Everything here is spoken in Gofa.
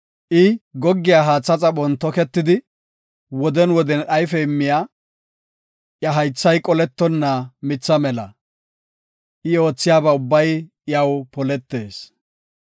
I goggiya haatha xaphon toketidi, woden woden ayfe immiya, iya haythay qolettonna mitha mela. I oothiya ubbay iyaw poletees.